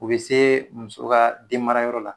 U bɛ se muso ka den mara yɔrɔ la